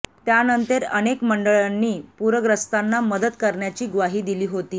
त्यानंतर अनेक मंडळांनी पूरग्रस्तांना मदत करण्याची ग्वाही दिली होती